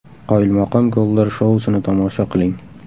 Qoyilmaqom gollar shousini tomosha qiling !